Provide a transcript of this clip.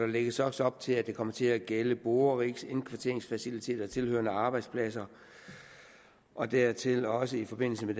lægges også op til at det kommer til at gælde borerigs indkvarteringsfaciliteter tilhørende arbejdspladser og dertil også i forbindelse med